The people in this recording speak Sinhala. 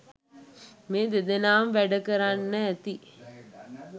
මේ දෙදෙනාම වැඩ කරන්න ඇති.